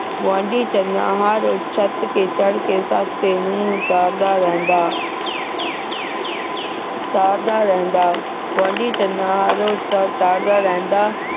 ਗੁਆਂਢੀ ਚੰਨਾ ਹਰ ਛੱਤ ਤੇ ਚੜ੍ਹ ਕੇ ਸੱਸ ਤੇ ਨੂੰਹ ਨੂੰ ਤਾੜਦਾ ਰਹਿੰਦਾ ਤਾੜਦਾ ਰਹਿੰਦਾ ਗੁਆਂਢੀ ਚੰਨਾ ਹਰ ਰੋਜ ਤਾੜਦਾ ਰਹਿੰਦਾ